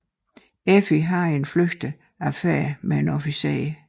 Effi har en flygtig affære med en officer